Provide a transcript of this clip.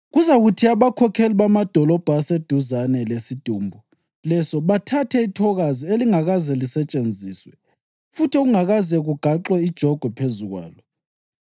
Kuzakuthi abakhokheli bamadolobho aseduzane lesidumbu leso bathathe ithokazi elingakaze lisetshenziswe futhi okungakaze kugaxwe ijogwe phezu kwalo